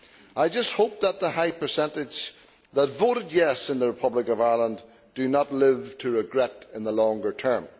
I just hope that the high percentage that voted yes' in the Republic of Ireland do not live to regret it in the longer term.